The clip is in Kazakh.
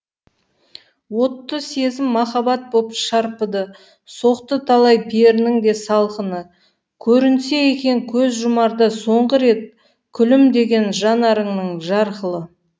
отты сезім махаббат боп шарпыды соқты талай перінің де салқыны көрінсе екен көз жұмарда соңғы рет күлімдеген жанарыңның жарқылы